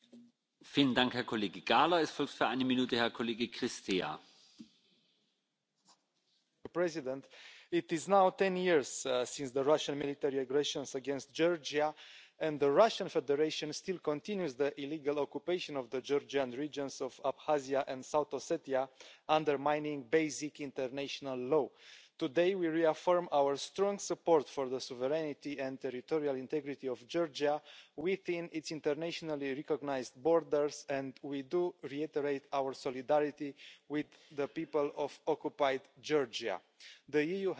Mr President, it is now 10 years since the Russian military aggression against Georgia, and the Russian Federation still continues the illegal occupation of the Georgian regions of Abkhazia and South Ossetia, undermining basic international law. Today we reaffirm our strong support for the sovereignty and territorial integrity of Georgia within its internationally recognised borders, and we reiterate our solidarity with the people of occupied Georgia. The EU has not forgotten what took place in